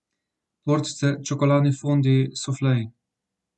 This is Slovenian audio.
Tortice, čokoladni fondiji, sufleji ...